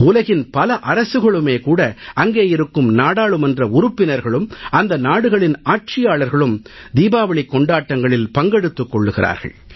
உலகின் பல அரசுகளுமே அங்கேயிருக்கும் நாடாளுமன்ற உறுப்பினர்களும் அந்த நாடுகளின் ஆட்சியாளர்களும் தீபாவளிக் கொண்டாட்டங்களில் பங்கெடுத்துக் கொள்கிறார்கள்